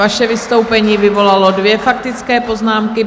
Vaše vystoupení vyvolalo dvě faktické poznámky.